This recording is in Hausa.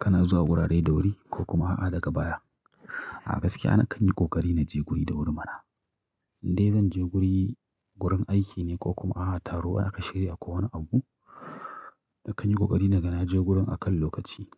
Kana zuwa wurare da wuri ko kuma a daga baya. A gaskiya na kan yi ƙoƙari na je guri da wuri mana. Indai zan je guri, gurin aiki ne ko kuma a taro aka shirya ko wani abu, na kan yi ƙoƙari na ga na je gurin a kan lokaci